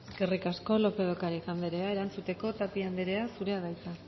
eskerrik asko lópez de ocariz anderea erantzuteko tapia anderea zurea da hitza